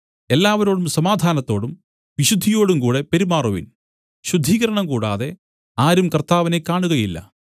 എല്ലാവരോടും സമാധാനത്തോടും വിശുദ്ധിയോടും കൂടെ പെരുമാറുവിൻ ശുദ്ധീകരണം കൂടാതെ ആരും കർത്താവിനെ കാണുകയില്ല